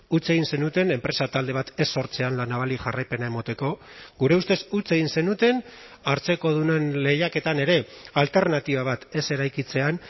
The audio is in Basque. huts egin zenuten enpresa talde bat ez sortzean la navali jarraipena emateko gure ustez huts egin zenuten hartzekodunen lehiaketan ere alternatiba bat ez eraikitzean